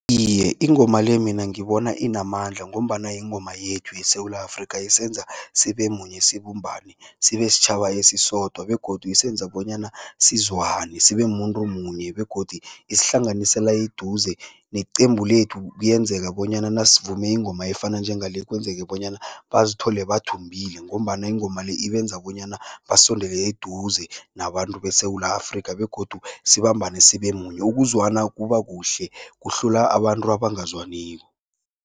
Iye, ingoma le mina ngibona inamandla ngombana yingoma yethu yeSewula Afrika isenza sibe munye, sibumbane, sibe sitjhaba esisodwa begodu isenza bonyana sizwane sibe mumuntu munye begodu isihlanganisela eduze. Neqembu lethu kuyenzeka bonyana nasivume ingoma efana njengale kwenzeke bonyana bazithole bathumbile ngombana ingoma le ibenza bonyana basondele eduze nabantu beSewula Afrika begodu sibambene sibe munye, ukuzwana kuba kuhle, kuhlula abantu abangazwaniko.